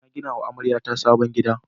Na gina wa amaryata sabon gida.